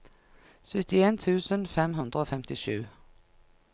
syttien tusen fem hundre og femtisju